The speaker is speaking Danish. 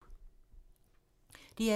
DR2